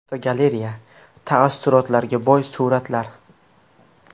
Fotogalereya: Tassurotlarga boy suratlar.